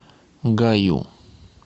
гаю